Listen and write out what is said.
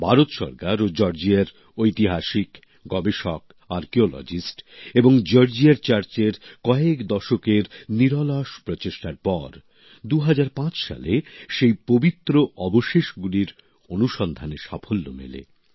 ভারত সরকার ও জর্জিয়ার ঐতিহাসিক গবেষক পূরাতত্ত্ববিদ এবং জর্জিয়ার চার্চের কয়েক দশকের নিরলস প্রচেষ্টার পর ২০০৫ সালে সেই পবিত্র অবশেষগুলির অনুসন্ধানে সাফল্য মেলে